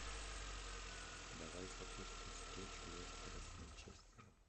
давай запустим встречу лестера с манчестером